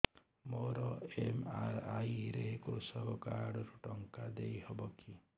ମୋର ଏମ.ଆର.ଆଇ ରେ କୃଷକ କାର୍ଡ ରୁ ଟଙ୍କା ଦେଇ ହବ କି